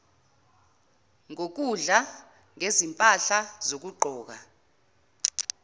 ngokudla ngezimpahla zokugqoka